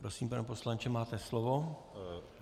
Prosím, pane poslanče, máte slovo.